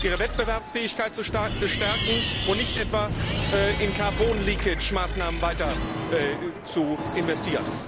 ihre Wettbewerbsfähigkeit zu stärken und nicht etwa weiter in Carbon leakage Maßnahmen zu investieren.